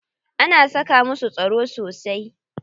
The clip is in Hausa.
Ana saka masu tsaro sosai.